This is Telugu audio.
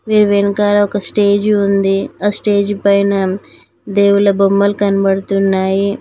దీని వెనకాల ఒక స్టేజు ఉంది ఆ స్టేజి పైన దేవుళ్ళ బొమ్మలు కనబడుతున్నాయి.